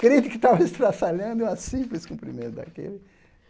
Crente que estava estraçalhando e uma simples cumprimento daquele.